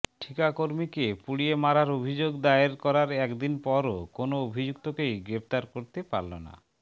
ঠিকাকর্মীকে পুড়িয়ে মারায় অভিযোগ দায়ের করার একদিন পরও কোনও অভিযুক্তকেই গ্রেফতার করতে পারল না